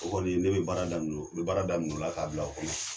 O kɔni ne bɛ baara daminɛ n bɛ baara daminɛ o la k'a bila o kɔnɔ.